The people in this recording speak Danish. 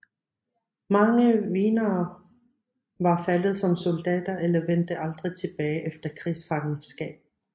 Mange wienere var faldet som soldater eller vendte aldrig tilbage efter krigsfangenskab